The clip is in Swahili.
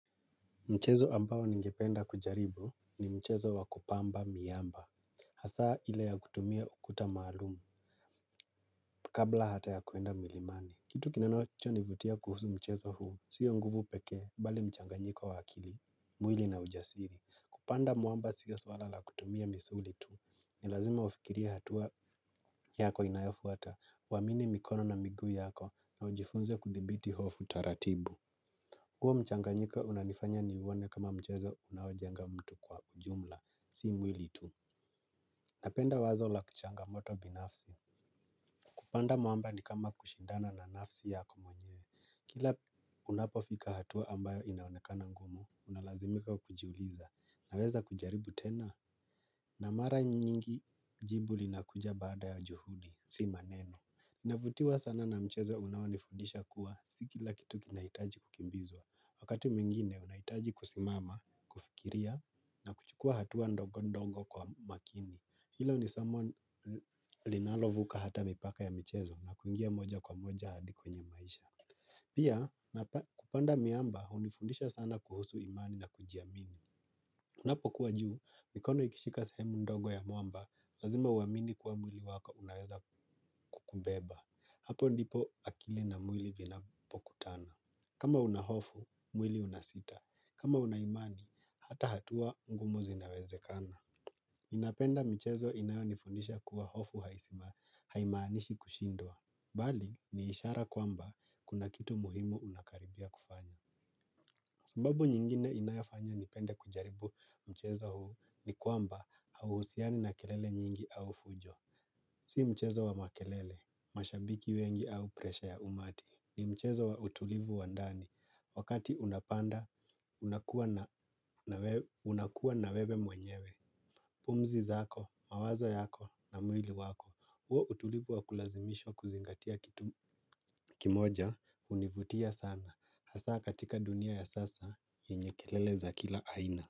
Mchezo ambao ningependa kujaribu ni mchezo wa kupamba miamba. Hasaa ile ya kutumia ukuta maalum kabla hata ya kuenda milimani. Kitu kinachonivutia kuhusu mchezo huu sio nguvu pekee, bali mchanganyiko wa akili, mwili na ujasiri. Kupanda mwamba siyo swala la kutumia misuli tu, ni lazima ufikirie hatua yako inayafuata, uamini mikono na miguu yako na ujifunze kuthibiti hofu taratibu. Huo mchanganyiko unanifanya niuone kama mchezo unaojenga mtu kwa ujumla si mwili tu. Napenda wazo la changamoto binafsi. Kupanda mwamba ni kama kushindana na nafsi yako mwenyewe. Kila unapofika hatua ambayo inaonekana ngumu, unalazimika kujiuliza, naweza kujaribu tena. Na mara nyingi jibu linakuja baada ya juhudi, si maneno. Ninavutiwa sana na mchezo unaonifundisha kuwa si kila kitu kinahitaji kukimbizwa, wakati mwingine unahitaji kusimama, kufikiria na kuchukua hatua ndogo ndogo kwa makini. Hilo ni somo linalovuka hata mipaka ya michezo na kuingia moja kwa moja hadi kwenye maisha. Pia kupanda miamba hunifundisha sana kuhusu imani na kujiamini. Unapokuwa juu mikono ikishika sehemu ndongo ya mwamba, lazima uamini kuwa mwili wako unaweza kukubeba. Hapo ndipo akili na mwili vinapokutana. Kama una hofu, mwili unasita. Kama una imani, hata hatua ngumu zinawezekana. Napenda michezo inayonifundisha kuwa hofu haisima, haimaanishi kushindwa. Bali, ni ishara kwamba kuna kitu muhimu unakaribia kufanya. Sababu nyingine inayofanya nipende kujaribu mchezo huu ni kwamba hauhusiani na kelele nyingi au fujo. Si mchezo wa makelele, mashabiki wengi au presha ya umati. Ni mchezo wa utulivu wa ndani, wakati unapanda unakuwa na wewe mwenyewe. Pumzi zako, mawazo yako na mwili wako. Huo utulivu wa kulazimishwa kuzingatia kitu kimoja hunivutia sana, hasa katika dunia ya sasa yenye kelele za kila aina.